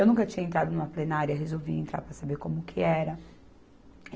Eu nunca tinha entrado numa plenária, resolvi entrar para saber como que era.